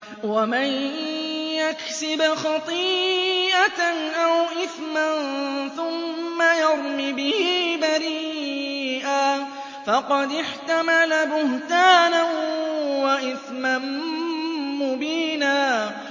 وَمَن يَكْسِبْ خَطِيئَةً أَوْ إِثْمًا ثُمَّ يَرْمِ بِهِ بَرِيئًا فَقَدِ احْتَمَلَ بُهْتَانًا وَإِثْمًا مُّبِينًا